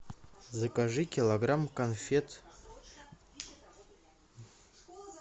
закажи килограмм конфет